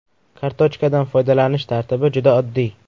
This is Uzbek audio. Kartochkadan foydalanish tartibi juda oddiy.